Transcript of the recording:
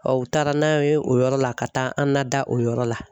u taara n'an ye o yɔrɔ la ka taa an nada o yɔrɔ la.